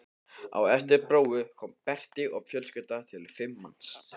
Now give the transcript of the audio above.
Á eftir Bróa kemur Berti og fjölskyldan telur fimm manns.